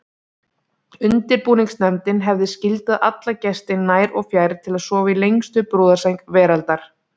Undirbúningsnefndin hefði skyldað alla gesti nær og fjær til að sofa í lengstu brúðarsæng veraldar.